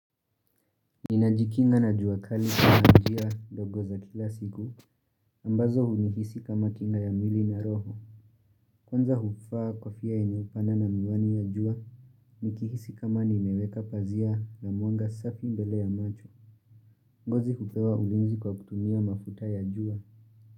Ninajikinga na juakali na njia ndogo za kila siku ambazo hunihisi kama kinga ya mwili na roho Kwanza hufaa kofia yenye hufanya na miwani ya jua Nikihisi kama nimeweka pazia ya mwanga safi mbele ya macho ngozi hupewa uguzi kwa kutumia mafuta ya jua.